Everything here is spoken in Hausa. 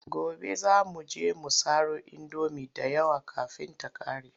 Gobe za mu je mu saro indomi da yawa kafin ta ƙare.